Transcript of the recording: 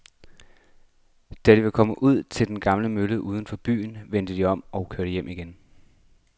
Da de var kommet ud til den gamle mølle uden for byen, vendte de om og kørte hjem igen.